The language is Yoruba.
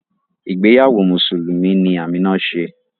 Ìgbéyàwó Mùsùlùmí ni Amina ṣe